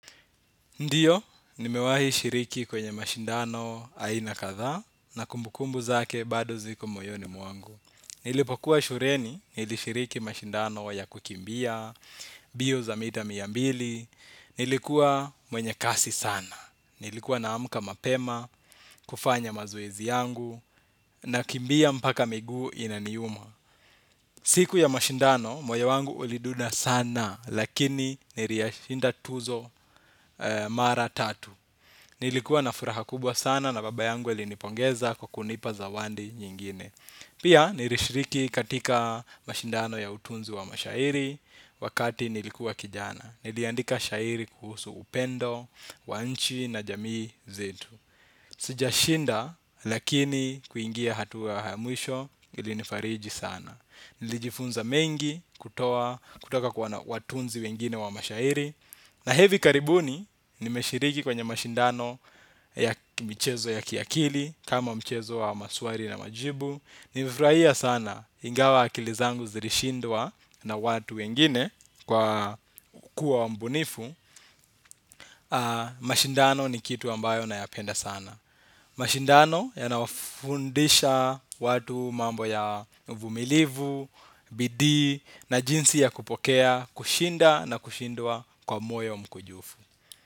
Ndiyo nimewahi shiriki kwenye mashindano aina kadhaa na kumbukumbu zake bado ziko moyoni mwangu. Nilipokuwa shuleni, nilishiriki mashindano ya kukimbia, mbio za mita mia mbili, nilikuwa mwenye kasi sana. Nilikuwa naamka mapema, kufanya mazoezi yangu, nakimbia mpaka miguu inaniuma. Siku ya mashindano, moyo wangu ulidunda sana, lakini niliyashinda tuzo mara tatu. Nilikuwa na furaha kubwa sana na baba yangu ailinipongeza kwa kunipa zawadi nyingine. Pia nilishiriki katika mashindano ya utunzi wa mashairi wakati nilikuwa kijana. Niliandika shairi kuhusu upendo, wa nchi na jamii zetu. Sijashinda lakini kuingia hatua ya mwisho ilinifariji sana. Nilijifunza mengi kutoka kwa watunzi wengi wa shairi. Na hivi karibuni nimeshiriki kwenye mashindano ya michezo ya kiakili. Kama mchezo wa maswali na majibu nilifurahia sana ingawa akili zangu zilishindwa na watu wengine kwa kuwa mbunifu. Mashindano ni kitu ambayo nayapenda sana. Mashindano yanawafundisha watu mambo ya uvumilivu, bidii na jinsi ya kupokea, kushinda na kushindwa kwa moyo mkunjufu.